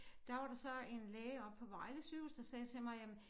Der var der så en læge oppe på Vejle Sygehus der sagde til mig jamen